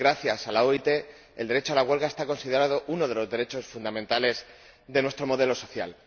Gracias a la OIT, el derecho a la huelga está considerado uno de los derechos fundamentales de nuestro modelo social.